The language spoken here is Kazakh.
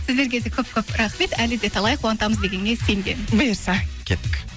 сіздерге де көп көп рахмет әлі де талай қуантамыз дегенге сенем бұйырса кеттік